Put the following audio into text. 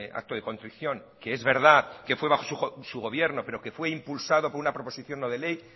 acto de contrición que es verdad que fue bajo su gobierno pero que fue impulsado por una proposición no de ley